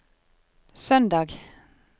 søndag